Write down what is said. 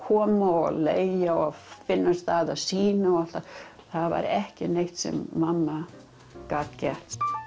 koma og leigja og finna stað sýna og allt það það var ekki neitt sem mamma gat gert